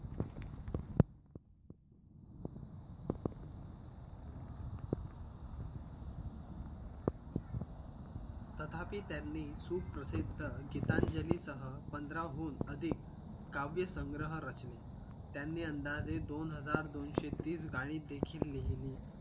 तथापि त्यांनी सुखप्रसिद्ध गीतांजली सह पंधराहून अधिक काव्य संग्रह रचले त्यांनी अंदाजे दोनहजार दोनशे तीस गाणी देखील लिहिली